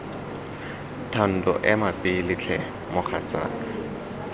thando ema pele tlhe mogatsaka